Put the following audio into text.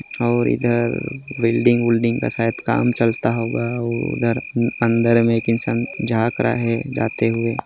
--और इधर बिल्डिंग उल्डिंग का शायद काम चलता होगा और उधर अंदर मे एक इंसान झाँक रहा है जाते हुए।